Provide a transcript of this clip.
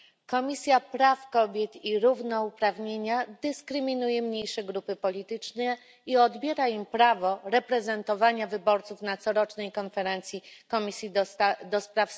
Komisja Praw Kobiet i Równouprawnienia dyskryminuje mniejsze grupy polityczne i odbiera im prawo reprezentowania wyborców na corocznej konferencji Komisji ds.